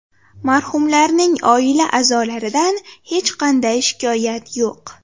Marhumlarning oila a’zolaridan hech qanday shikoyat yo‘q.